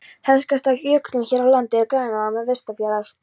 Þekktasta jökullón hér á landi er Grænalón við vesturjaðar